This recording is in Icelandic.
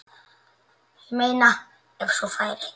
Ég meina ef svo færi.